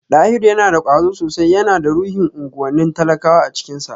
Dahiru yana da kwazo sosai, yana da ruhin unguwannin talakawa a cikinsa